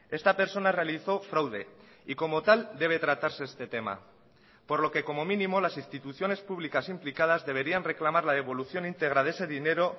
esta persona realizó fraude y como tal debe tratarse este tema por lo que como mínimo las instituciones públicas implicadas deberían reclamar la devolución integra de ese dinero